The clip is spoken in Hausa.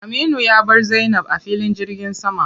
Aminu ya bar Zainab a filin jirgin sama.